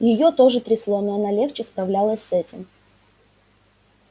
её тоже трясло но она легче справлялась с этим